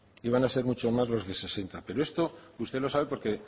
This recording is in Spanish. y van a ser mucho más de los sesenta pero esto usted lo sabe porque